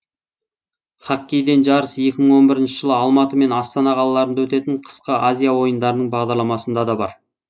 хоккейден жарыс екі мың он бірінші жылы алматы мен астана қалаларында өтетін қысқы азия ойындарының бағдарламасында да бар